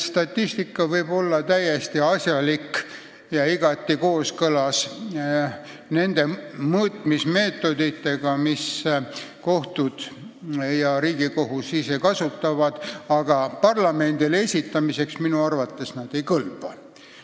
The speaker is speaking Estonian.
Statistika võib olla täiesti õige ja igati kooskõlas nende mõõtmismeetoditega, mida kohtud ja Riigikohus ise kasutavad, aga parlamendile esitamiseks minu arvates see ei kõlba.